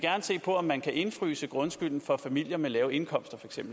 se på om man kan indefryse grundskylden for familier med lave indkomster